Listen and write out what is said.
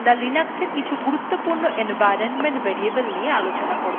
এখন আমরা linux কিছু গুরুত্বপূর্ণ environment variable নিয়ে আলোচনা করব